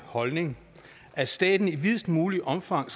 holdning at staten i videst muligt omfang